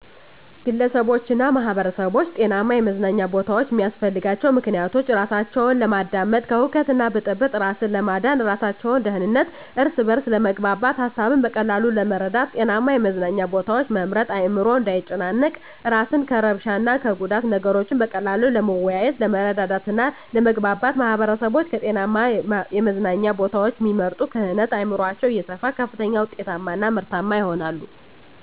ግለሰቦችና ማህበረሰቦች ጤናማ የመዝናኛ ቦታዎችን የሚያስፈልጋቸው ምክንያቶች:-እራሳቸውን ለማዳመጥ፤ ከሁከትና ብጥብጥ እራስን ለማዳን፤ ለእራሳቸው ደህንነት፤ እርስ በርስ ለመግባባት፤ ሀሳብን በቀላሉ ለመረዳት። ጤናማ የመዝናኛ ቦታዎችን መምረጥ አዕምሮ እንዳይጨናነቅ፤ እራስን ከእርብሻ እና ከጉዳት፤ ነገሮችን በቀላሉ ለመወያየት፤ ለመረዳዳት እና ለመግባባት። ማህበረሰቦች ከጤናማ የመዝናኛ ቦታዎችን እሚመርጡ ክህነት አዕምሯቸው እየሰፋ ከፍተኛ ውጤታማ እና ምርታማ ይሆናሉ።